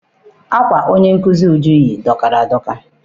Akwa onye nkụzi Uju yi dọkara adọka.